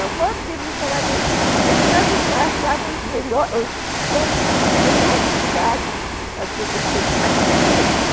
Eu mordei cada vez, porque nós achávamos os melhores lugares, as coisas mais diferentes.